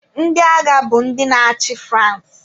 Ndị agha bụ ndị na-achị France.